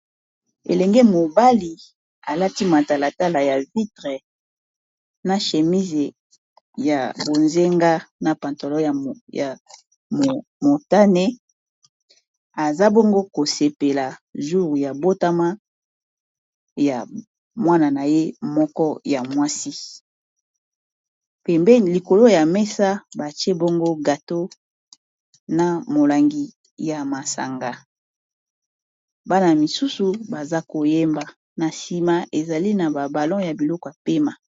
elenge mobali alati matalatala ya vitre na shemise ya bozenga na pantalon ya motane aza bongo kosepela joure ya botama ya mwana na ye moko ya mwasi pembe likolo ya mesa batie bongo gato na molangi ya masanga , bana misusu baza koyemba na sima ezali na babalo ya biloko yakotiya pema